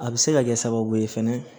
A bɛ se ka kɛ sababu ye fɛnɛ